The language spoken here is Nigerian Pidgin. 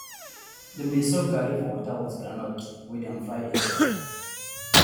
dem dey soak garri for water with groundnut wey dem fry inside